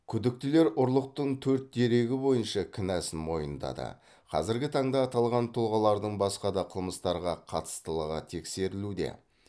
күдіктілер ұрлықтың төрт дерегі бойынша кінәсін мойындады қазіргі таңда аталған тұлғалардың басқа да қылмыстарға қатыстылығы тексерілуде